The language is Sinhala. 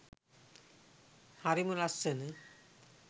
හරිම ලස්සන